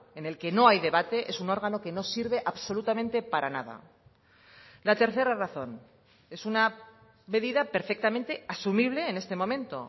en el que no hay debate es un órgano que no sirve absolutamente para nada la tercera razón es una medida perfectamente asumible en este momento